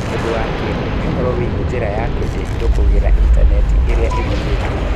Ũndũ wa kerĩ, nĩ ũhoro wĩgiĩ njĩra ya kwendia indo kũgerera Intaneti ĩrĩa ĩthuurĩtwo.